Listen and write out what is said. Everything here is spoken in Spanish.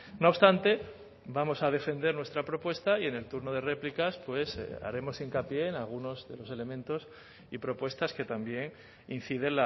no obstante vamos a defender nuestra propuesta y en el turno de réplicas pues haremos hincapié en algunos de los elementos y propuestas que también incide